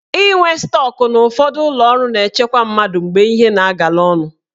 Inwe stọk na ụfọdụ ụlọọrụ na-echekwa mmadụ mgbe ihe na-agala ọnụ.